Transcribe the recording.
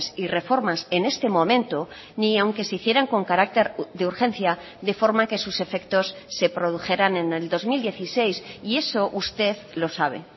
y reformas en este momento ni aunque se hicieran con carácter de urgencia de forma que sus efectos se produjeran en el dos mil dieciséis y eso usted lo sabe